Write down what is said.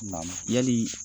Naamu yali